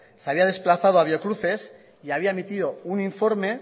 se había desplazado a biocruces y había emitido un informe